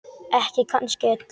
Ekki kannski öllu.